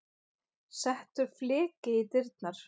Settur fleki í dyrnar.